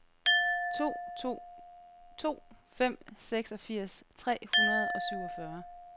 to to to fem seksogfirs tre hundrede og syvogfyrre